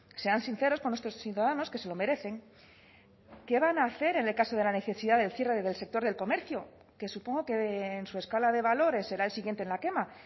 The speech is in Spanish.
sean sinceros con nuestros ciudadanos que se lo merecen qué van a hacer en el caso de la necesidad del cierre del sector del comercio que supongo que en su escala de valores será el siguiente en la quema